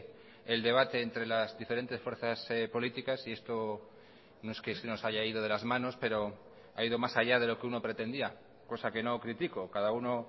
el debate entre las diferentes fuerzas políticas y esto no es que se nos haya ido de las manos pero ha ido más allá de lo que uno pretendía cosa que no critico cada uno